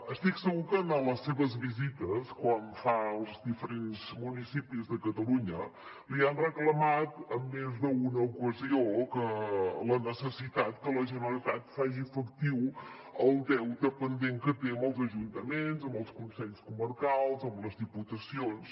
estic segur que en les seves visites quan fa els diferents municipis de catalunya li han reclamat en més d’una ocasió la necessitat que la generalitat faci efectiu el deute pendent que té amb els ajuntaments amb els consells comarcals amb les diputacions